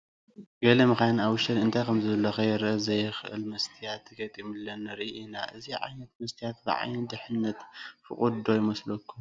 ገለ መኻይን ኣብ ውሽተን እንታይ ከምዘሎ ከርእይ ዘየኽእል መስትያት ተገጢሙለን ንርኢ ኢና፡፡ እዚ ዓይነት መስትያት ብዓይኒ ድሕንነት ፍቑድ ዶ ይመስለኩም?